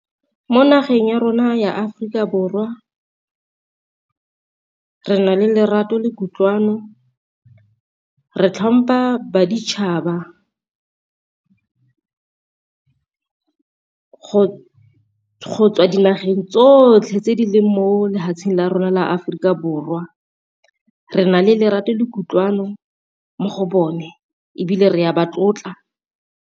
Mo nageng ya rona ya Aforika Borwa re na le lerato le kutlwano re tlhompha baditshaba, go tswa dinageng tsotlhe tse di le mo lefatsheng la rona la Aforika Borwa re nale lerato le kutlwano mo go bone ebile re a ba tlotla.